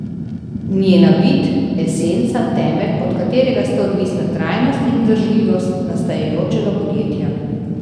Njena bit, esenca, temelj, od katerega sta odvisna trajnost in vzdržljivost nastajajočega podjetja?